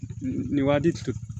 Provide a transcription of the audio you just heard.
Nin waati